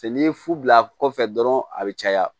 Cɛ n'i ye fu bila kɔfɛ dɔrɔn a bɛ caya